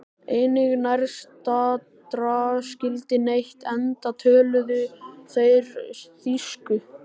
Enginn nærstaddra skildi neitt enda töluðu þeir þýsku.